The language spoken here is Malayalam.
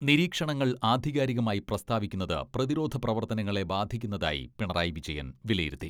നിരീക്ഷണങ്ങൾ ആധികാരികമായി പ്രസ്താവിക്കുന്നത് പ്രതിരോധ പ്രവർത്തനങ്ങളെ ബാധിക്കുന്നതായി പിണറായി വിജയൻ വിലയിരുത്തി.